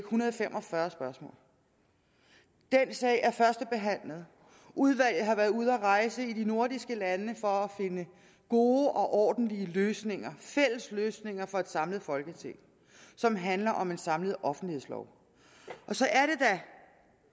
hundrede og fem og fyrre spørgsmål den sag er førstebehandlet udvalget har været ude at rejse i de nordiske lande for at finde gode og ordentlige løsninger fælles løsninger for et samlet folketing som handler om en samlet offentlighedslov og så er